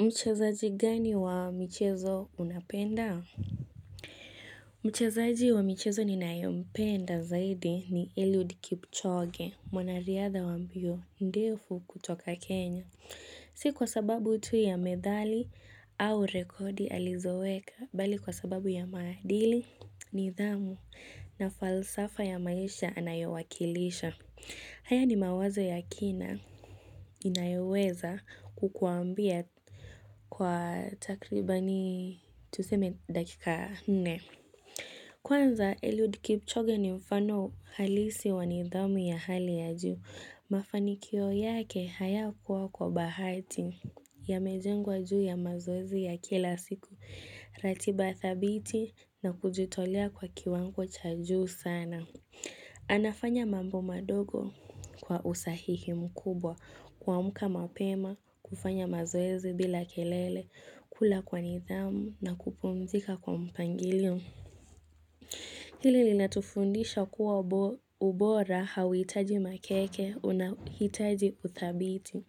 Mchazaji gani wa michezo unapenda? Mchezaji wa michezo ninayompenda zaidi ni Eliud Kipchoge, mwanariadha wa mbio, ndefu kutoka Kenya. Si kwa sababu tu ya medali au rekodi alizoweka, bali kwa sababu ya maadili, nidhamu na falsafa ya maisha anayowakilisha. Haya ni mawazo ya kina. Inayoweza kukuambia kwa takribani tuseme dakika nne Kwanza Eliud Kipchoge ni mfano halisi wa nidhamu ya hali ya juu Mafanikio yake hayakuwa kwa bahati yamejengwa juu ya mazoezi ya kila siku ratiba thabiti na kujitolea kwa kiwango cha juu sana anafanya mambo madogo kwa usahihi mkubwa kuamka mapema, kufanya mazoezi bila kelele, kula kwa nidhamu na kupumzika kwa mpangilio. Hili linatufundisha kuwa ubora hauhitaji makeke, unahitaji uthabiti.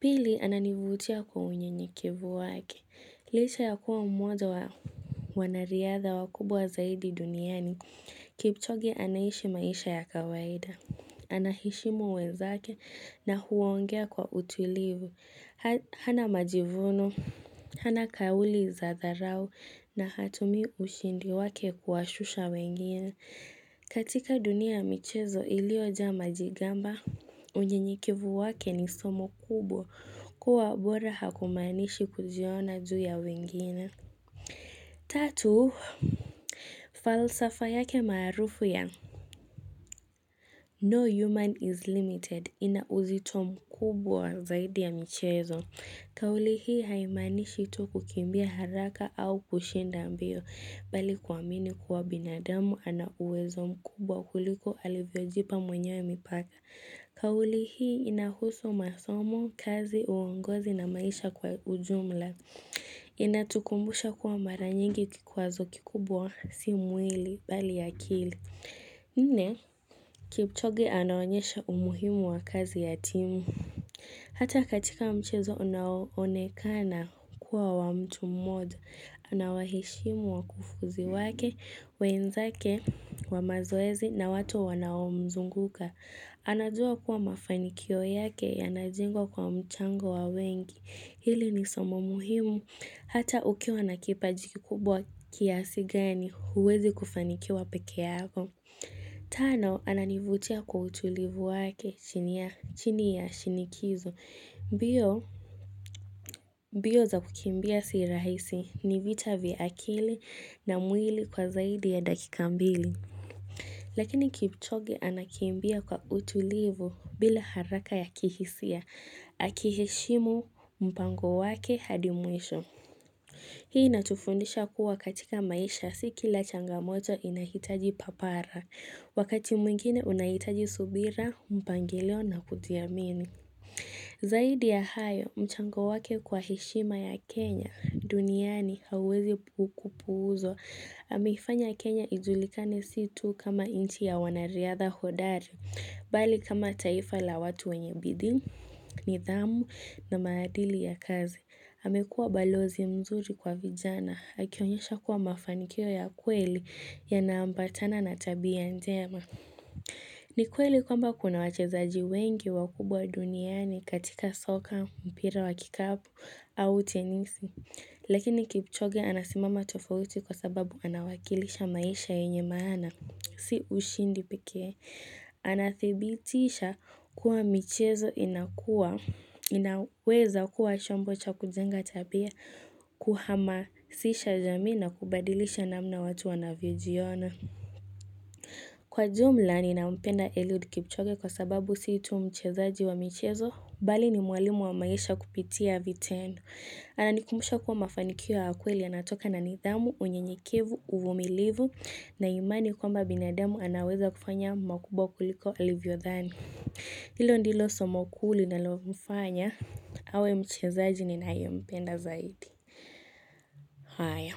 Pili ananivutia kwa unyenyekevu wake. Licha ya kuwa mmoja wa wanariadha wakubwa zaidi duniani. Kipchoge anaishi maisha ya kawaida. Ana heshimu wenzake na huongea kwa utulivu, hana majivuno, hana kauli za dharau na hatumi ushindi wake kuwashusha wengine. Katika dunia michezo iliojaa majigamba, unyenyekevu wake ni somo kubwa kuwa bora hakumanishi kujiona juu ya wengine. Tatu. Falsafa yake maarufu ya. No human is limited. Ina uzito mkubwa zaidi ya michezo. Kauli hii haimanishi tu kukimbia haraka au kushinda mbio bali kuamini kuwa binadamu ana uwezo mkubwa kuliko alivyojipa mwenyewe mipaka. Kauli hii inahusu masomo, kazi, uongozi na maisha kwa ujumla. Inatukumbusha kuwa mara nyingi kikwazo kikubwa si mwili bali akili. Nne, kipchoge anaonyesha umuhimu wa kazi ya timu, hata katika mchezo unao onekana kuwa wa mtu mmoja, anawaheshimu wakufuzi wake, wenzake, wa mazoezi na watu wanaomzunguka. Anajua kuwa mafanikio yake yanajengwa kwa mchango wa wengi. Hili ni somo muhimu. Hata ukiwa na kipaji kubwa kiasi gani huwezi kufanikiwa peke yako. Tano, ananivutia kwa utulivu wake chini ya shinikizo. Mbio mbio za kukimbia si rahisi ni vita vya akili na mwili kwa zaidi ya dakika mbili. Lakini kipchoge anakimbia kwa utulivu bila haraka ya kihisia, akiheshimu mpango wake hadi mwisho. Hii inatufundisha kuwa katika maisha si kila changamoto inahitaji papara, wakati mwingine unahitaji subira, mpangilio na kujiamini. Zaidi ya hayo, mchango wake kwa heshima ya Kenya, duniani hauwezi kupuuzwa. Ameifanya Kenya ijulikane si tu kama nchi ya wanariadha hodari, bali kama taifa la watu wenye bidii, nidhamu na maadili ya kazi. Amekua balozi mzuri kwa vijana, akionyesha kuwa mafanikio ya kweli yana ambatana na tabia njema. Ni kweli kwamba kuna wachezaji wengi wakubwa duniani katika soka, mpira wa kikapu au tenisi. Lekini kipchoge anasimama tofauti kwa sababu anawakilisha maisha yenye maana. Si ushindi pekee. Anathibitisha kuwa michezo inakua. Inaweza kuwa chombo cha kujenga tabia kuhamasisha jamii na kubadilisha namna watu wanavyojiona. Kwa jumla ninampenda Eliud kipchoge kwa sababu si itu mchezaji wa michezo, bali ni mwalimu wa maisha kupitia vitendo. Ananikumusha kuwa mafanikio ya kweli yanatoka na nidhamu, unyenyekevu, uvumilivu, na imani kwamba binadamu anaweza kufanya makubwa kuliko alivyodhani. Hilo ndilo somo ku linalomfanya, awe mchezaji ninaye mpenda zaidi. Haya.